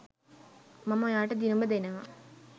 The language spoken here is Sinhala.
මම ඔයාට දිනුම දෙනව